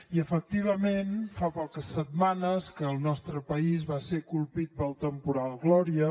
i efectivament fa poques setmanes que el nostre país va ser colpit pel temporal gloria